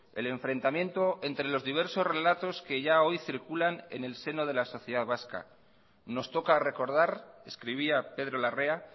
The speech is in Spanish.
el enfrentamiento entre los diversos relatos que ya hoy circulan en el seno de la sociedad vasca nos toca recordar escribía pedro larrea